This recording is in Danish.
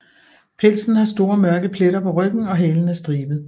Pelsen har store mørke pletter på ryggen og halen er stribet